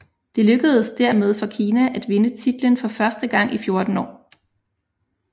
Det lykkedes dermed for Kina at vinde titlen for første gang i fjorten år